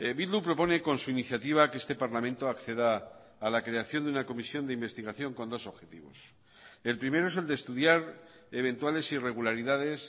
bildu propone con su iniciativa que este parlamento acceda a la creación de una comisión de investigación con dos objetivos el primero es el de estudiar eventuales irregularidades